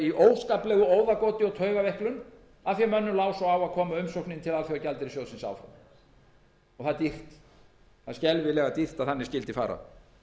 í óskaplegu óðagoti og taugaveiklun af því að mönnum lá svo á að koma umsókninni til alþjóðagjaldeyrissjóðsins áfram það er dýrt það er skelfilega dýrt að þannig skyldi fara